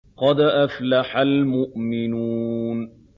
قَدْ أَفْلَحَ الْمُؤْمِنُونَ